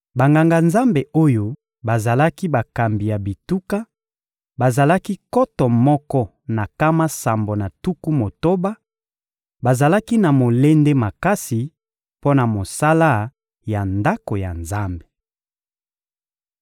Banganga-Nzambe oyo bazalaki bakambi ya bituka, bazalaki nkoto moko na nkama sambo na tuku motoba; bazalaki na molende makasi mpo na mosala ya Ndako ya Nzambe.